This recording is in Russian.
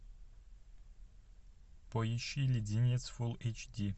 поищи леденец фулл эйч ди